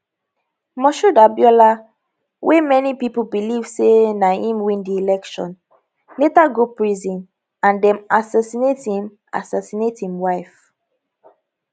moshood abiola wey many pipo believe say na im win di election later go prison and dem assassinate im assassinate im wife